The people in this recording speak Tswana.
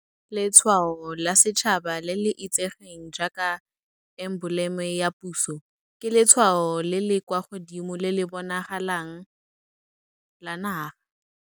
Letshwao la Setšhaba, le le itsegeng jaaka emboleme ya puso, ke letshwao le le kwa godimo le le bonalang la naga.